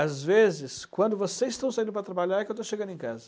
Às vezes, quando vocês estão saindo para trabalhar, é que eu estou chegando em casa.